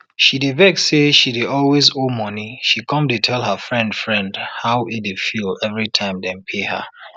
she dey vex say she dey always owe monie she come dey tell her friend friend how e dey feel every time dem pay her